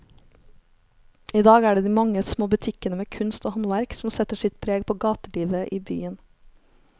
I dag er det de mange små butikkene med kunst og håndverk som setter sitt preg på gatelivet i byen.